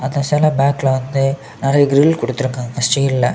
அந்த செல பேக்ல வந்து நறைய கிரில் குடுத்துறுகாங்க ஸ்டீல்ல .